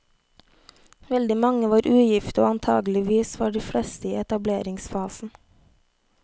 Veldig mange var ugifte, og antakeligvis var de fleste i etableringsfasen.